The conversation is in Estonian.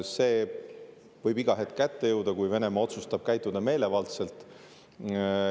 See võib iga hetk kätte jõuda, kui Venemaa otsustab käituda meelevaldselt.